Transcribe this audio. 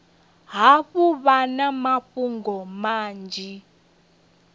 hafhu vha na mafhungo manzhi